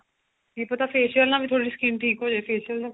ਕੀ ਪਤਾ facial ਨਾਲ ਵੀ ਥੋੜੀ ਜੀ skin ਠੀਕ ਹੋਜੇ facial